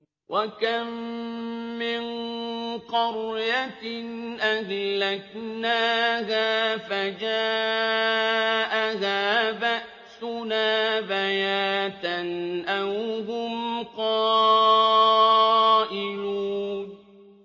وَكَم مِّن قَرْيَةٍ أَهْلَكْنَاهَا فَجَاءَهَا بَأْسُنَا بَيَاتًا أَوْ هُمْ قَائِلُونَ